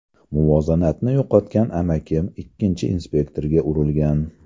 Muvozanatni yo‘qotgan amakim, ikkinchi inspektorga urilgan.